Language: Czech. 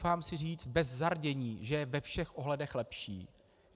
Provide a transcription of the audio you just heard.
Troufám si říct bez zardění, že je ve všech ohledech lepší.